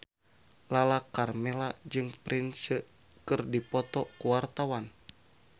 Lala Karmela jeung Prince keur dipoto ku wartawan